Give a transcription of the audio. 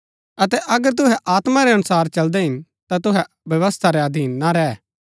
अतै अगर तुहै आत्मा रै अनुसार चलदै हिन ता तुहै व्यवस्था रै अधीन ना रैह